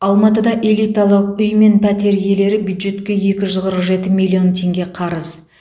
алматыда элиталық үй мен пәтер иелері бюджетке екі жүз қырық жеті миллион теңге қарыз